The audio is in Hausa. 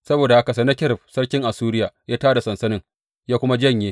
Saboda haka Sennakerib sarkin Assuriya ya tā da sansanin ya kuma janye.